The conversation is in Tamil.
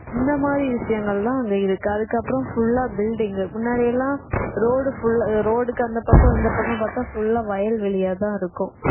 இந்த மாதிரி விஷயங்கள்தான் அங்க இருக்கு அதுக்கப்புறம் full ஆ building முன்னாடி எல்லாம் road full ஆ road க்கு அந்தப் பக்கம் இந்தப் பக்கம் பார்த்தா full ஆ வயல்வெளியாத்தான் இருக்கும்